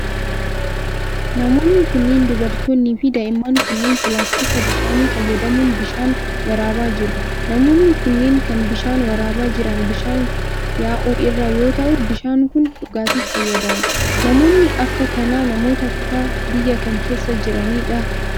Namoonni kunneen ,dubartoonni fi daa'imman kunneen, pilaastika bishaanii fayyadamuun bishaan waraabaa jiru. Namoonni kunneen, kan bishaan waraabaa jiran bishaan yaa'u irraa yoo ta'u, bishaan kun dhugaatiif fayyada. Namoonni akka kanaa namoota kutaa biyyaa kam keessa jiranii dha?